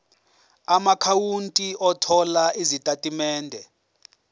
amaakhawunti othola izitatimende